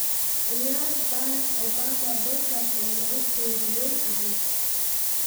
ciyaar barack obama podcast oo lagu keydiyay aaladda